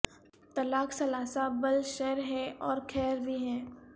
طلاق ثلاثہ بل شر ہے اور خیر بھی ہے